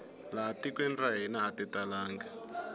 laha tikweni ra hina ati talangi